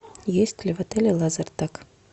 есть ли в отеле лазертаг